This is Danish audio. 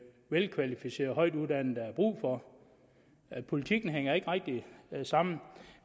velkvalificerede højtuddannede der er brug for politikken hænger ikke rigtig sammen